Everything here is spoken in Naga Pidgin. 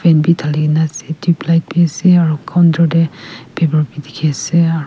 bi dhali kae na ase tubelight bi ase aro counter tae paper bi dikhiase.